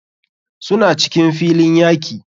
Suna cikin filin yaki.